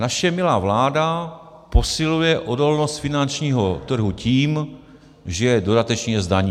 - Naše milá vláda posiluje odolnost finančního trhu tím, že ho dodatečně zdaní.